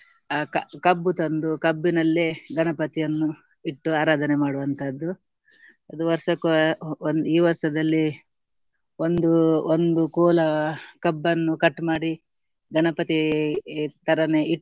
ಅಹ್ ಕ~ ಕಬ್ಬು ತಂದು ಕಬ್ಬಿನಲ್ಲಿ ಗಣಪತಿಯನ್ನು ಇಟ್ಟು ಆರಾಧನೆ ಮಾಡುವಂತದ್ದು. ಅದ್ ವರ್ಷಕ್ಕೆ ಒಂದ್ ಈ ವರ್ಷದಲ್ಲಿ ಒಂದು ಒಂದು ಕೋಲಾ ಕಬ್ಬನ್ನು cut ಮಾಡಿ ಗಣಪತಿಗೆ ತರಾನೆ ಇಟ್ಟು